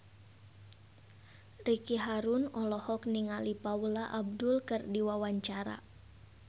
Ricky Harun olohok ningali Paula Abdul keur diwawancara